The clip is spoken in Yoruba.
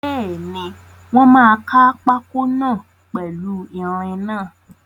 Bẹ́ẹ̀ni, wọ́n máa kaa pákó náà pèlu ìrìn náà